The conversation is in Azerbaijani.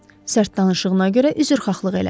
Sərt danışığına görə üzrxahlıq elədi.